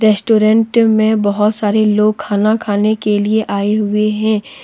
Restaurant में बहुत सारे लोग खाना खाने के लिए आए हुए हैं।